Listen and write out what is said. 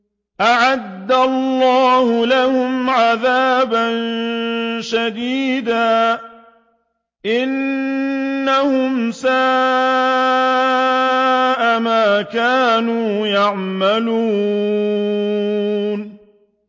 أَعَدَّ اللَّهُ لَهُمْ عَذَابًا شَدِيدًا ۖ إِنَّهُمْ سَاءَ مَا كَانُوا يَعْمَلُونَ